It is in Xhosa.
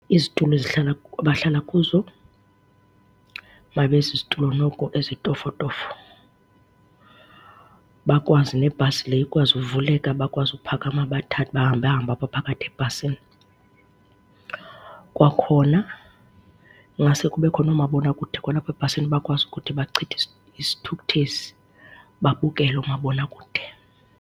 Izitulo ezihlala, abahlala kuzo mayibe zizitulo noko ezitofotofo bakwazi nebhasi le ikwazi uvuleka, bakwazi ukuphakama bahambahambe apha phakathi ebhasini. Kwakhona ingaske kubekho noomabonakude kwalapha ebhasini bakwazi ukuthi bachithe isithukuthezi, babukele oomabonakude.